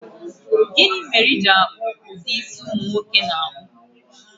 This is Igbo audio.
Gini mere I ji ala isi umu nwoke?